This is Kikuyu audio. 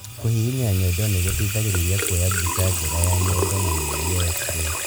Kũhihinya nyondo nĩgũteithagĩrĩria kuoya mbica njega ya nyondo na mĩrũri ya x-ray